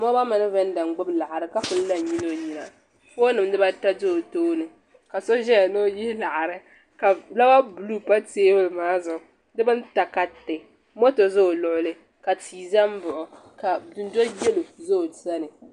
Dabba n gbiri salma bi siɣila bayaɣati ni n ti toori na ti tiri bi taba ban ʒɛn ʒɛya bi luɣuli bi toori la bayaɣati maa niŋda tahapɔŋ bihi ni bi shaba pili la zipiliti ka bi shaba mi bi pili.